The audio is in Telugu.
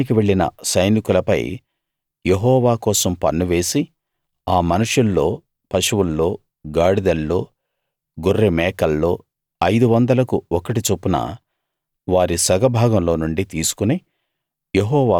యుద్ధానికి వెళ్ళిన సైనికులపై యెహోవా కోసం పన్ను వేసి ఆ మనుషుల్లో పశువుల్లో గాడిదల్లో గొర్రె మేకల్లో ఐదు వందలకు ఒకటి చొప్పున వారి సగభాగంలో నుండి తీసుకుని